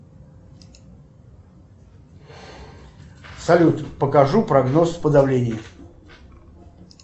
салют покажу прогноз по давлению